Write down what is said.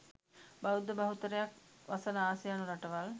බෞද්ධ බහුතරයක් වසන ආසියානු රටවල්